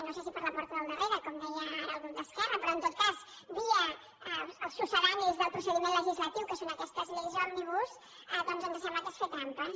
no sé si per la porta del darrere com deia ara el grup d’esquerra però en tot cas via els succedanis del procediment legislatiu que són aquestes lleis òmnibus doncs ens sembla que és fer trampes